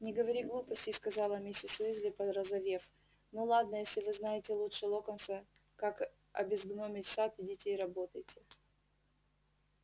не говори глупостей сказала миссис уизли порозовев ну ладно если вы знаете лучше локонса как обезгномить сад идите и работайте